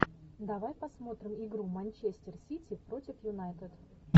давай посмотрим игру манчестер сити против юнайтед